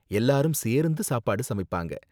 எல்லாரும் சேர்ந்து சாப்பாடு சமைப்பாங்க.